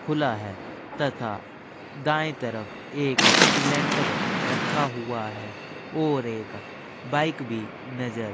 खुला है तथा दाईं तरफ एक सिलेंडर रखा हुआ है और एक बाइक भी नजर --